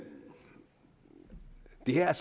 her